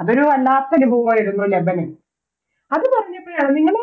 അതൊരു വല്ലാത്തൊരനുഭവായിരുന്നു ലതാനൻ അതുപറഞ്ഞപ്പോഴാണ് നിങ്ങളോ